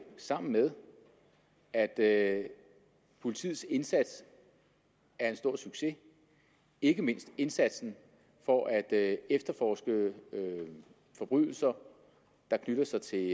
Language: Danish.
sammen med at at politiets indsats er en stor succes ikke mindst indsatsen for at efterforske forbrydelser der knytter sig til